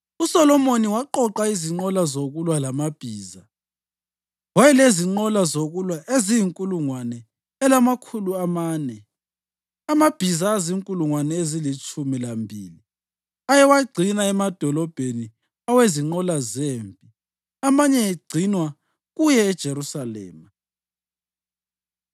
USolomoni waqoqa izinqola zokulwa lamabhiza; wayelezinqola zokulwa eziyinkulungwane elamakhulu amane, amabhiza azinkulungwane ezilitshumi lambili ayewagcina emadolobheni awezinqola zempi amanye egcinwe kuye eJerusalema.